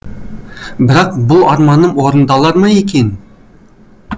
бірақ бұл арманым орындалар ма екен